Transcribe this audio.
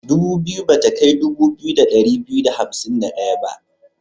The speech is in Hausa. Dubu biyu ba ta kai dubu biyu da ɗari biyu da hamsin da ɗaya ba.